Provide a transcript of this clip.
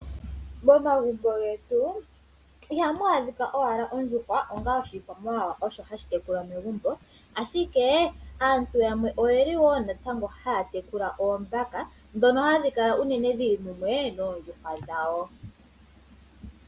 Momagumbo getu ihamu adhika owala ondjuhwa onga oshikwamawawa osho hashitekulwa megumbo ashike aantu yamwe oyeli woo natango haya tekula oombaka dhono hadhi kala uunene shili mumwe noondjuhwa dhawo.